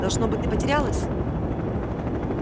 должно быть ты потерялась